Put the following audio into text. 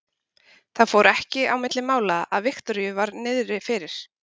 Það fór ekki á milli mála að Viktoríu var niðri fyrir.